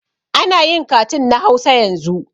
Anayin katun na hausa yanzu